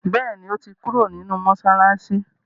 béèni o to kúrò nínú masalasi.